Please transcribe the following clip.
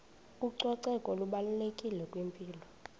ucoceko lubalulekile kwimpilo